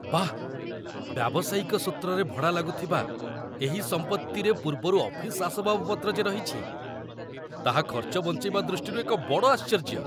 ବାଃ! ବ୍ୟାବସାୟିକ ସୂତ୍ରରେ ଭଡ଼ା ଲାଗୁଥିବା ଏହି ସମ୍ପତ୍ତିରେ ପୂର୍ବରୁ ଅଫିସ୍‌ ଆସବାବପତ୍ର ଯେ ରହିଛି, ତାହା ଖର୍ଚ୍ଚ ବଞ୍ଚେଇବା ଦୃଷ୍ଟିରୁ ଏକ ବଡ଼ ଆଶ୍ଚର୍ଯ୍ୟ!